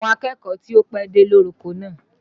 Àwọn akẹ́kọ̀ọ́ ti ó pẹ́dé ló roko náà